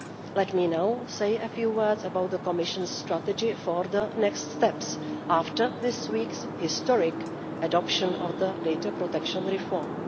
Let me now say a few words about the Commission's strategy for the next steps after this week's historic adoption of the data protection reform.